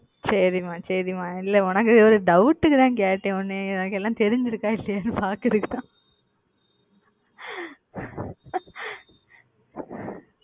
செரி மா செரி மா இல்ல உனக்கு ஒரு doubt க்கு தான் கேட்டேன் உனக்கு எல்லாம் தெரிஞ்சுருக்கா இல்லையான்னு பாக்ககுரதுக்குத்தான ,